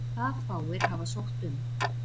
Það fáir hafa sótt um.